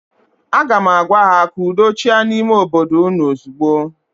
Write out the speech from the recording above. Aga m agwa ha, ka udo chịa n'ime obodo ụnụ ozigbo!